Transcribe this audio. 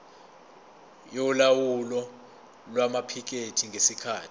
yolawulo lwamaphikethi ngesikhathi